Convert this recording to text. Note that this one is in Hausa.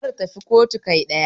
Kar tafi kotu kai kaɗai